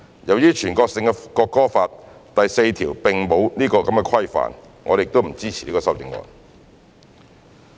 由於全國性的《國歌法》第四條並沒有此規範，我們不支持此修正案。